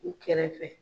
U kɛrɛfɛ